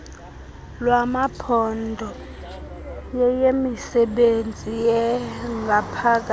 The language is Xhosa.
lwamaphondo yeyemisebenzi yangaphakathi